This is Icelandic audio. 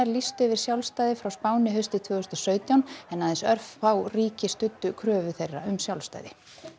lýstu yfir sjálfstæði frá Spáni haustið tvö þúsund og sautján en aðeins örfá ríki studdu kröfu þeirra um sjálfstæði